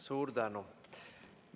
Suur tänu!